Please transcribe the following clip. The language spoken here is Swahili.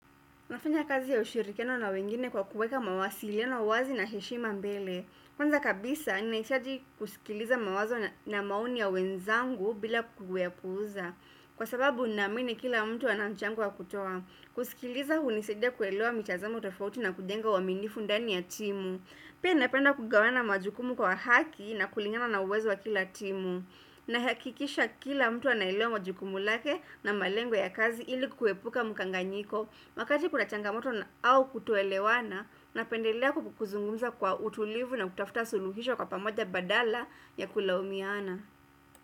Nafanya kazi ya ushirikiano na wengine kwa kuweka mawasiliano wazi na heshima mbele. Kwanza kabisa, ninahitaji kusikiliza mawazo na maoni ya wenzangu bila kuyapuuza. Kwa sababu ninaamini kila mtu ananchangwa kutoa. Kusikiliza hunisaidia kuelewa mtazamo tofauti na kujenga uaminifu ndani ya timu. Pia napenda kugawana majukumu kwa haki na kulingana na uwezo wa kila timu. Na hakikisha kila mtu anaelewa majukumu lake na malengo ya kazi ili kuepuka mukanganyiko. Wakati kuna changamoto na au kutoelewana, napendelea kuzungumza kwa utulivu na kutafuta suluhisho kwa pamoja badala ya kulaumiana.